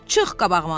Çıx qabağıma!